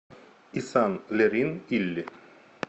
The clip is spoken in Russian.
исан лерин илли